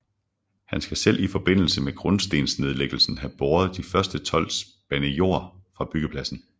Han skal selv i forbindelse med grundstensnedlæggelsen have båret de første tolv spande jord fra byggepladsen